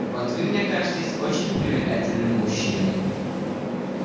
вот вы мне кажетесь очень привлекательным мужчиной